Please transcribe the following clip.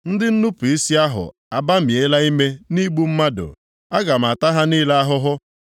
Ndị nnupu isi ahụ abamiela ime nʼigbu mmadụ, aga m ata ha niile ahụhụ.